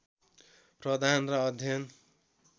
प्रदान र अध्ययन